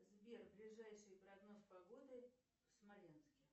сбер ближайший прогноз погоды в смоленске